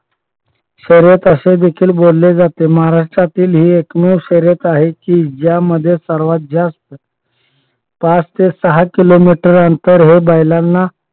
शर्यत असे देखील बोलले जाते. महाराष्ट्रातील ही एकमेव शर्यत आहे की ज्यामध्ये सर्वात जास्त पाच ते सहा किलोमीटर अंतर हे बैलांना